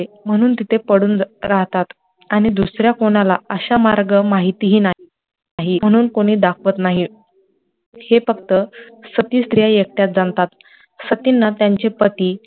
म्हणुन तिथे पडुन राहतात आणी दुसऱ्या कोणाला अशा मार्ग माहिती हि नाही म्हणुन कोणी दाखवत नाहीं, हे फक्त सती स्त्रिया एकट्याच जाणतात, सतींना त्यांचे पति